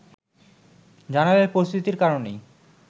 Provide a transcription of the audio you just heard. জানালেন পরিস্থিতির কারণেই